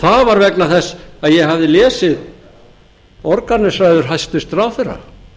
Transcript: það var vegna þess að ég hafði lesið borgarnesræður hæstvirtur ráðherra